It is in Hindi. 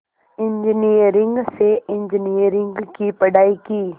इंजीनियरिंग से इंजीनियरिंग की पढ़ाई की